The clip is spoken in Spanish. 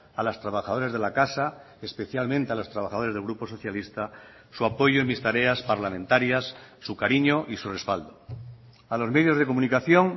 a las trabajadoras de la casa especialmente a los trabajadores del grupo socialista su apoyo en mis tareas parlamentarias su cariño y su respaldo a los medios de comunicación